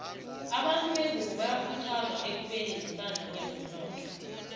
abantu bengunbo bayakhuthazwa ekubeni nesandla kwezomnotho